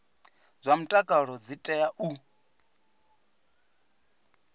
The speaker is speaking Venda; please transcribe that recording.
zwa mutakalo dzi tea u